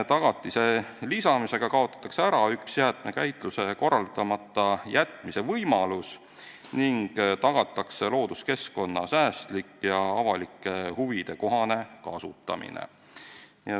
Tagatise lisamisega kaotatakse ära üks jäätmekäitluse korraldamata jätmise võimalus ning tagatakse looduskeskkonna säästlik ja avalike huvide kohane kasutamine.